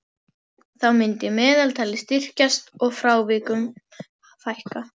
Þá myndi meðaltalið styrkjast og frávikum fækka.